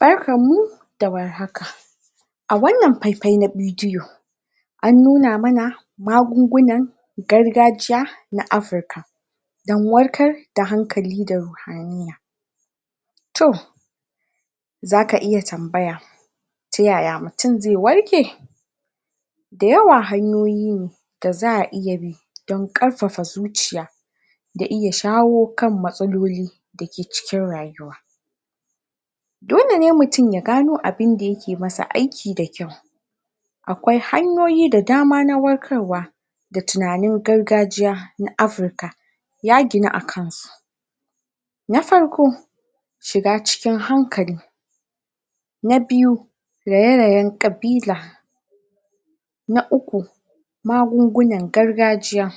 Barkanmu da warhaka a wannan faifai na bidiyo an nuna mana magunguna gargajiya na Africa don warkarkar da hankali to za ka iya tambaya ta yaya mutum zai warke da yawa hanyoyi ne da za abi don ƙarfafa zuciya da iya shawo kan matsaloli da ke cikin rayuwa dole ne mutum ya gano abinda yake masa aiki da kyau akwai hanyoyi da dama na warkarwa da tunanin gargajiya na Africa ya ginu a kansu na farko shiga cikin hankali na biyu raye-rayen ƙabila na uku magungunan gargajiya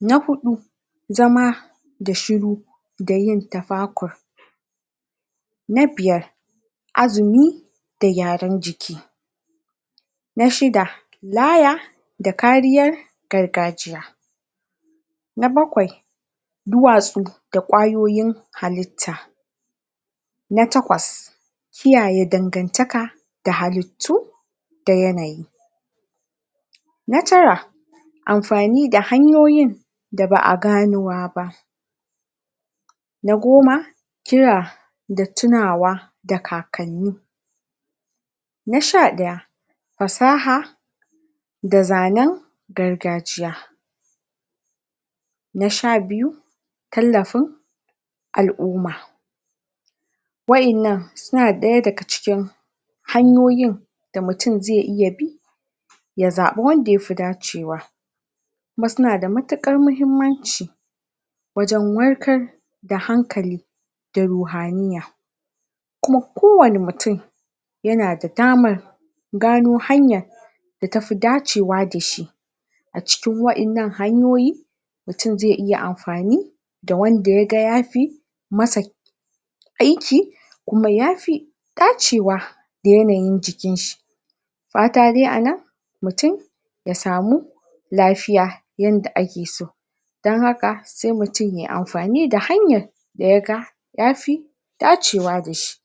na huɗu zama da shuru da yin tafakur na biyar azumi da gyaran jiki na shida laya da kariyar gargajiya. na bakwai duwatsu da ƙwayoyin halitta na takwas kiyaye dandantaka da halitu da yanayi. na tara amfani da hanyoyin da ba a gano ba na goma kira da tunawa da kakanni na sha ɗaya fasaha da zanen gargajiya na sha biyu tallafin al'umma wa'innan suna ɗaya daga cikin hanyoyin da mutam zai iya bi ya zaɓi wanda ya fi dacewa. kuma suna da matuƙar muhimmanci wajen warkar da hankali da ruhaniyya. kuma kowanne mutum yana da damar gano hanyar da ta fi dacewa da shi. a cikin wa'innan hanyoyi mutum zai iya amfani da wanda ya ga ya fi masa aiki kuma ya fi dacewa da yanayin jikinshi. fata dai a nan mutum ya sami lafiya yanda ake so dan haka sai mutum ya yi amfani da hanyar da ya fi dacewa da shi.